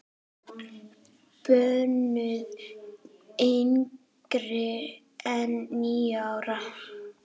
Bönnuð yngri en níu ára.